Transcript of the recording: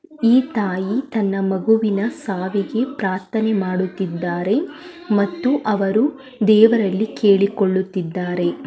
ಈ ತಾಯಿ ತನ್ನ ಮಗುವಿನ ಸಾವಿಗೆ ಪ್ರಾರ್ಥನೆ ಮಾಡುತ್ತಿದ್ದಾರೆ ಮತ್ತು ಅವರು ದೇವರಲ್ಲಿ ಕೇಳಿಕೊಳ್ಳುತ್ತಿದ್ದಾರೆ.